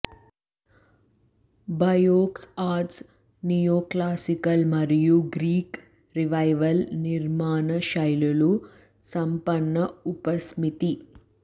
Beaux arts neoclassical మరియు Greek revival నిర్మాణ శైలుల సంపన్న ఉపసమితి